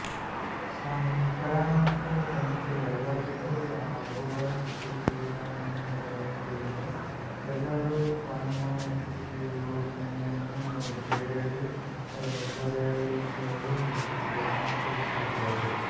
ಸಾಂಕ್ರಾಮಿಕದಂತೆ ಎಲ್ಲರಿಗೂ ಹಬ್ಬುವ ಸ್ಥಿತಿಯಿದ್ದರಿಂದ ಎಲ್ಲರೂ ಕಣ್ಮುಚ್ಚಿ ಯೋಚನೆಯನ್ನು ಬೇರೆಡೆ ಹೊರಳಿಸಲು ಯತ್ನಿಸುತ್ತಿದ್ದರು